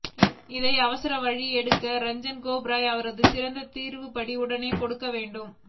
இதை அவசர வழக்க எடுத்து ரஞ்சன் கோகாய் அவர்கள் சிறந்த தீர்ப்படி உடனே கொடுக்க வேண்டும்